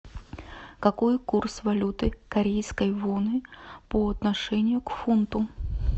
какой курс валюты корейской воны по отношению к фунту